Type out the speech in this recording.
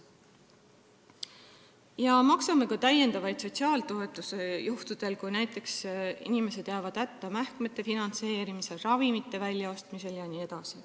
Me maksame ka täiendavaid sotsiaaltoetusi, kui inimesed jäävad näiteks hätta mähkmete finantseerimisel, ravimite väljaostmisel jne.